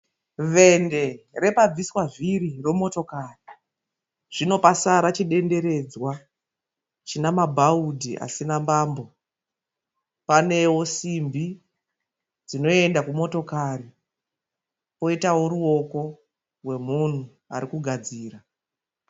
Vende repabviswa vhiri remotokari zvino pasara chidenderedzwa chine mabhaudhi asina mbambo. Panewo simbi dzinoenda kumotokari poitawo ruoko rwemunhu ari kugadzira.